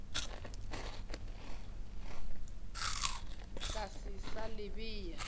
ka se sa le bea